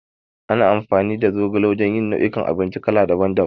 Ana amfani da zogala wajan yin nau'i kan abinci kala daban daban